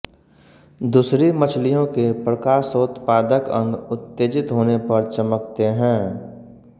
दूसरी मछलियों के प्रकाशोत्पादक अंग उत्तेजित होने पर चमकते हैं